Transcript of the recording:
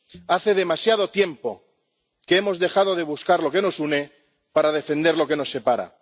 Hace demasiado tiempo que hemos dejado de buscar lo que nos une para defender lo que nos separa.